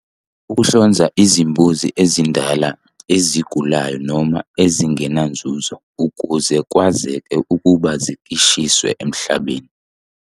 Uhlonza izimbuzi ezindala, ezigulayo noma ezingenanzuzo ukuze kwazeke ukuba zikishiswe emhlambini.